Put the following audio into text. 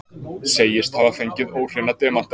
Segist hafa fengið óhreina demanta